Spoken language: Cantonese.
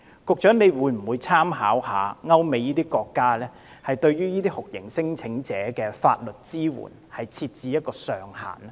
局長會否參考歐美國家的做法，就這些酷刑聲請者的法律支援設置上限？